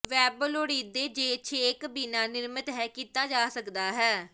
web ਲੋੜੀਦੇ ਜੇ ਛੇਕ ਬਿਨਾ ਨਿਰਮਿਤ ਹੈ ਕੀਤਾ ਜਾ ਸਕਦਾ ਹੈ